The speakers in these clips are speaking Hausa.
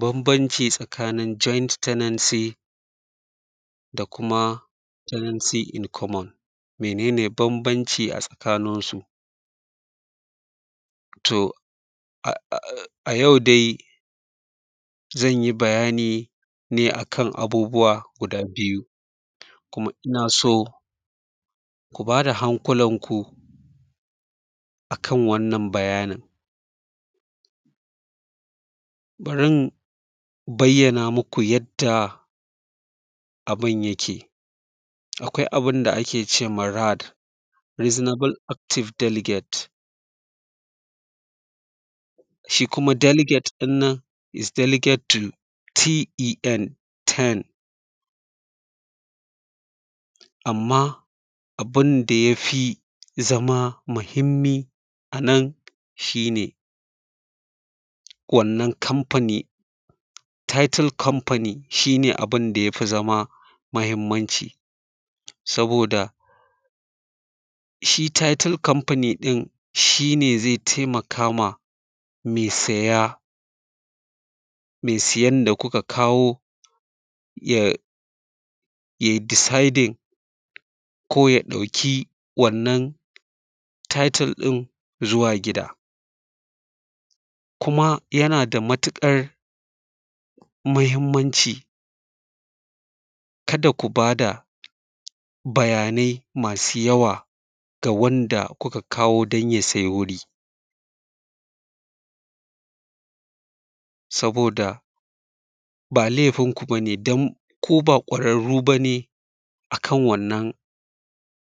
Bambanci tsakanin joint tenancy da kuma tenancy in common, mene ne bambanci a tsakanin su. To, a a a a yau dai zan yi bayani ne a kan abubuwa guda biyu, kuma ina so ku ba da hankulanku a kan wannan bayanin. Bari in bayyana muku yadda abin yake, akwai abin da ake cewa RAD Reasonable Active Delegate shi kuma “delegate” ɗin nan “is delegate to T.E.N” amma abin da ya fi zama mahimmi a nan shi ne, wannan kamfani, “title company” shi ne abin da ya fi zama mahimmanci, saboda shi “Title Company” ɗin shi ne ze temaka ma me saya, me sayan da kuka kawo ya yai “deciding” ko ya ɗauki wannan title ɗin zuwa gida, kuma yana da matiƙar mahimmanci, kada ku ba da bayanai masu yawa ga wanda kuka kawo dan ya sai wuri, saboda ba lefin ku ba ne dan ku ba ƙwararru ba ne a kan wannan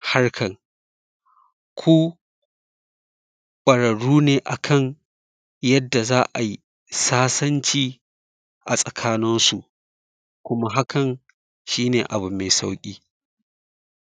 harkar, ku ƙwararru ne a kan yadda za ai sasanci a tsakanin su, kuma hakan shi ne abu me sauƙi.